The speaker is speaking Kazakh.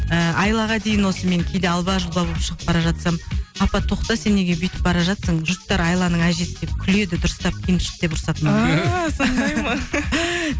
ыыы айлаға дейін осы мен кейде алба жұлба болып шығып бара жатсам апа тоқта сен неге бүйтіп бара жатырсың жұрттар айланың әжесі деп күледі дұрыстап киініп шық деп ұрсады маған ааа сондай ма